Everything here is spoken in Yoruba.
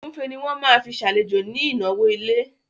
Ògúnfe ni wọ́n máa fi ṣàlejò ní ìnáwó ilé